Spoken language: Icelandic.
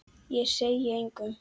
Ég segi engum.